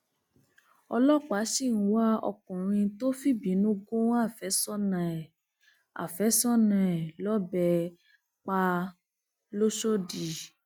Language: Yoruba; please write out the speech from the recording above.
ọlọpàá sì ń wá ọkùnrin tó fìbínú gún àfẹsọnà ẹ àfẹsọnà ẹ lọbẹ pa lọsọdì